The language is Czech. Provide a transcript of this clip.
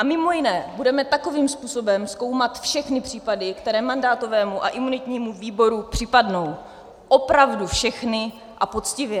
A mimo jiné budeme takovým způsobem zkoumat všechny případy, které mandátovému a imunitnímu výboru připadnou, opravdu všechny a poctivě.